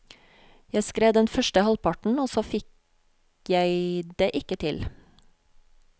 Jeg skrev den første halvparten, og så fikk jeg det ikke til.